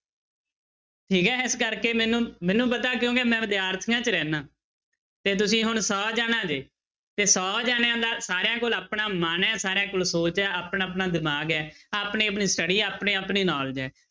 ਠੀਕ ਹੈ ਇਸ ਕਰਕੇ ਮੈਨੂੰ ਮੈਨੂੰ ਪਤਾ ਕਿਉਂਕਿ ਮੈਂ ਵਿਦਿਆਰਥੀਆਂ 'ਚ ਰਹਿਨਾ ਤੇ ਤੁਸੀਂ ਹੁਣ ਸੌ ਜਾਣਾ ਜੇ ਤੇ ਸੌ ਜਾਣਿਆਂ ਦਾ ਸਾਰਿਆਂ ਕੋਲ ਆਪਣਾ ਮਨ ਹੈ ਸਾਰਿਆਂਂ ਕੋਲ ਸੋਚ ਹੈ ਆਪਣਾ ਆਪਣਾ ਦਿਮਾਗ ਹੈ ਆਪਣੀ ਆਪਣੀ study ਆਪਣੀ ਆਪਣੀ knowledge ਹੈ।